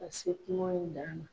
Ka se kungo in dan na.